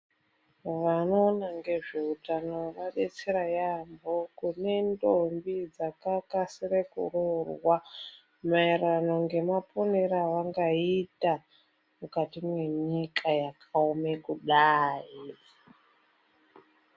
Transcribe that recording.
Vanoona ngezveutano vabetsera yaamho kune ndombi dzakakasire kuroorwa maererano nemaponere avangaita mukati mwenyika yakaome kudai.